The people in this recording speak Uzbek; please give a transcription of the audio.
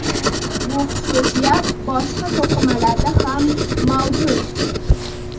Bu xususiyat boshqa to‘qimalarda ham mavjud.